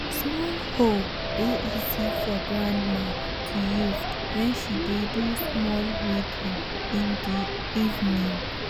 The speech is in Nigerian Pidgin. small hoe dey easy for grandma to use wen she dey do small weeding in the evening